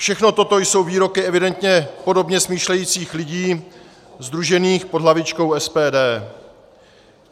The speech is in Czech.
Všechno toto jsou výroky evidentně podobně smýšlejících lidí sdružených pod hlavičkou SPD.